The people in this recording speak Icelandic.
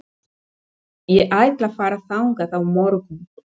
Ég ætla að fara þangað á morgun.